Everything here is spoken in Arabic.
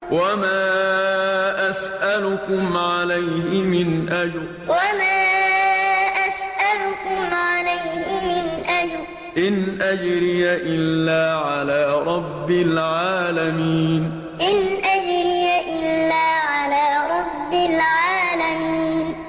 وَمَا أَسْأَلُكُمْ عَلَيْهِ مِنْ أَجْرٍ ۖ إِنْ أَجْرِيَ إِلَّا عَلَىٰ رَبِّ الْعَالَمِينَ وَمَا أَسْأَلُكُمْ عَلَيْهِ مِنْ أَجْرٍ ۖ إِنْ أَجْرِيَ إِلَّا عَلَىٰ رَبِّ الْعَالَمِينَ